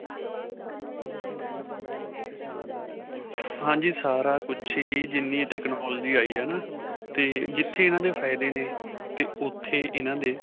ਹਾਂਜੀ. ਸਾਰਾ ਕੁਝ ਹੀ ਜਿਨ੍ਹੀ technology ਆਈ ਹੈ ਨਾ, 'ਤੇ ਜਿੱਥੇ ਇਨ੍ਹਾਂ ਦੇ ਫਾਇਦੇ ਨੇ 'ਤੇ ਉੱਥੇ ਇਨ੍ਹਾਂ ਦੇ.